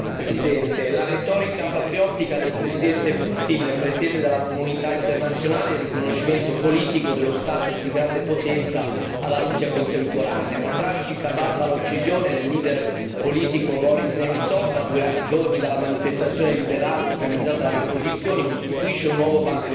Signor Presidente, onorevoli colleghi, la retorica patriottica del presidente Putin pretende dalla comunità internazionale il riconoscimento politico dello status di grande potenza alla Russia contemporanea. La tragica barbara uccisione del leader politico Boris Nemtsov a due giorni della manifestazione liberale organizzata dalle opposizioni costituisce un nuovo banco di prova.